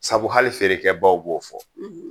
Sabu hali feerekɛ baw b'o fɔ